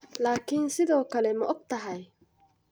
Laakiin sidoo kale ma ogtahay?